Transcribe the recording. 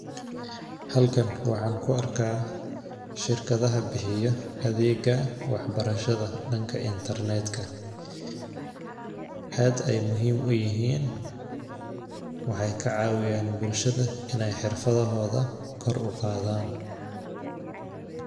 Halkan waxaan kuarkaah shirkadaha bixiyaa adega wax barashada danka intarnetka . Ad ay muhim uyihin , waxaay kacawiyan bulshada in ay xirfadahoda kor uqadan.